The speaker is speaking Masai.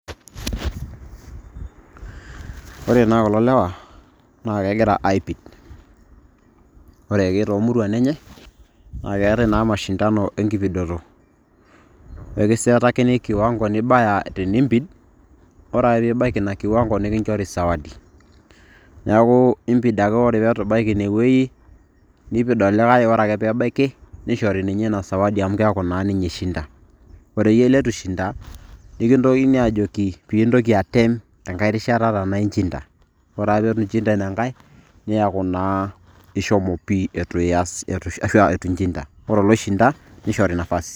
Ore naa kulo lewa na kegira aipid. Ore ake toomuruan enye, na keetae na mashindano enkipidoto. Ekisetakini kiwango nibaya teniimpid, ore ake pibaki ina kiwango nikinchori sawadi. Neeku impid ake ore peitu ibaki inewueji, nipid olikae oreake pebaiki, nishori ninye ina sawadi amu keeku na ninye ishinda. Ore iyie leitu ishinda, nikintokini ajoki pindoki atem enkae rishata taa naijo ina. Ore ake peitu inchinda inankae, neeku naa ishomo pii eitu ya ashu eitu nchinda. Ore oloishinda, nishori nafasi.